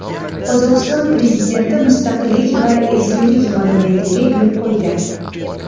Qozog‘iston prezidenti Mustaqillik va ezgulik monumentiga gul qo‘ydi .